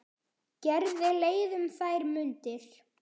Gerði leið um þær mundir.